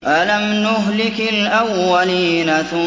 أَلَمْ نُهْلِكِ الْأَوَّلِينَ